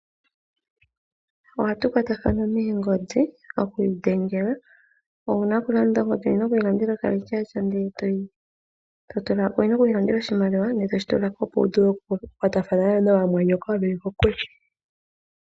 Oha tu kwatathana moongodhi oku idhengela. Ongodhi owuna oku yi landela okarecharge ndele toka tula ko opo wu vule oku kwatakana naamwanyoko mboka yeli kokule.